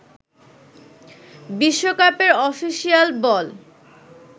বিশ্বকাপের অফিসিয়াল বল